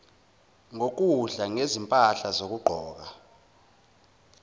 ngokudla ngezimpahla zokugqoka